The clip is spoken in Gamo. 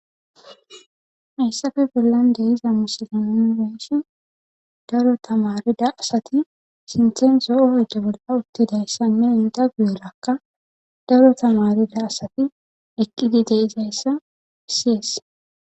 Hayssafe bollan de7iza misile nuni be7ishin daro tamaarida asati sinthen zo7o oyde bolla uttidayssanne eta guyerakka daro tamaareta deyssati eqqidi de7izayssa bessees.